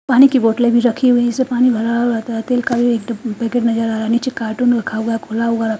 पानी की बोतले भी रखी हुई है जिसमे पानी भरा हुआ है निचे कार्टून रखा हुआ है खुल्ला हुआ रखा --